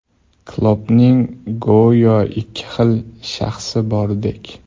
Kloppning go‘yo ikki xil shaxsi bordek.